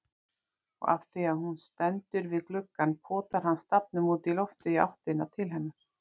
Og afþvíað hún stendur við gluggann potar hann stafnum útí loftið í áttina til hennar.